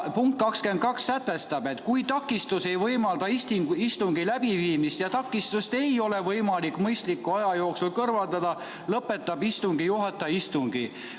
Punkt 22 sätestab, et kui takistus ei võimalda istungit läbi viia ja takistust ei ole võimalik mõistliku aja jooksul kõrvaldada, siis lõpetab istungi juhataja istungi.